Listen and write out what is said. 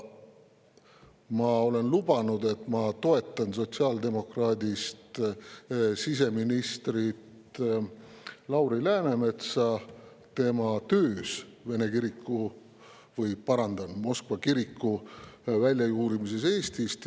Ma olen lubanud, et ma toetan sotsiaaldemokraadist siseministrit Lauri Läänemetsa tema töös vene kiriku, parandan, Moskva kiriku väljajuurimisel Eestist.